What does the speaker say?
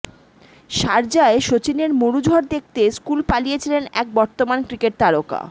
শারজায় সচিনের মরু ঝড় দেখতে স্কুল পালিয়েছিলেন এক বর্তমান ক্রিকেট তারকা